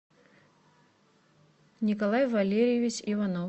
николай валерьевич иванов